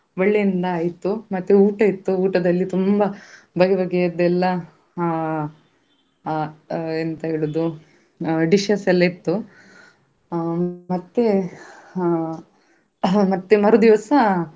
ಹೋಗ್ ಹೊ~ ಹೋದಾದ್ಮೇಲೆ ನಮ್ಗೆ ಪ್ರಾಣಿಗಳ ಬಗ್ಗೆ ಹೇಳ್ಲಿಕ್ಕೆ ಅಂತಸ ಒಬ್ರು ಇದ್ರು. ಅವರು ಆ ಪ್ರಾಣಿಗಳು ಎಲ್ಲಿಂದ ನಾವು ಕ~ ತಕೊಂಡು ಬಂದದ್ದು ಅವರು ಹೇಗೆ ಅದನ್ನು ರಕ್ಷಿಸಿ ಕರ್ಕೊಂಡು ಬಂದ್ರು ಆ ಯಾ~ ಅದು ಮೊದ್ಲು ಅದರ ಬಗ್ಗೆ.